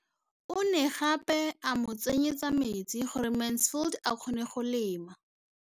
O ne gape a mo tsenyetsa metsi gore Mansfield a kgone go lema.